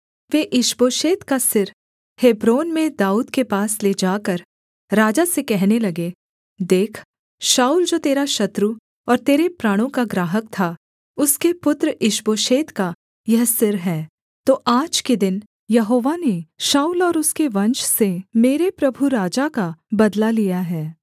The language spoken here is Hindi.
वे ईशबोशेत का सिर हेब्रोन में दाऊद के पास ले जाकर राजा से कहने लगे देख शाऊल जो तेरा शत्रु और तेरे प्राणों का ग्राहक था उसके पुत्र ईशबोशेत का यह सिर है तो आज के दिन यहोवा ने शाऊल और उसके वंश से मेरे प्रभु राजा का बदला लिया है